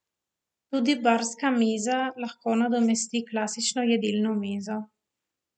Tudi barska miza lahko nadomesti klasično jedilno mizo.